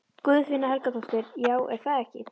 Guðfinna Helgadóttir: Já, er það ekki?